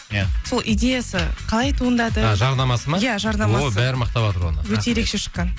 иә сол идеясы қалай туындады а жарнамасы ма иә жарнамасы ой бәрі мақтаватыр оны өте ерекше шыққан